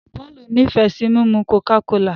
Paul ní fe sí mímu coca-cola.